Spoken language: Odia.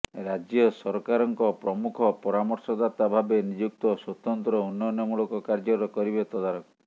ରାଜ୍ୟ ସରକାରଙ୍କ ପ୍ରମୁଖ ପରାମର୍ଶଦାତା ଭାବେ ନିଯୁକ୍ତ ସ୍ୱତନ୍ତ୍ର ଉନ୍ନୟନମୂଳକ କାର୍ଯ୍ୟର କରିବେ ତଦାରଖ